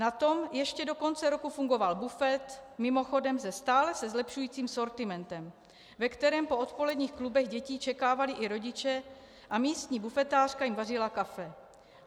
Na tom ještě do konce roku fungoval bufet, mimochodem se stále se zlepšujícím sortimentem, ve kterém po odpoledních klubech dětí čekávávali i rodiče a místní bufetářka jim vařila kafe.